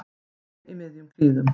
Við náðum þeim í miðjum klíðum